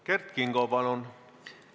Kert Kingo, palun!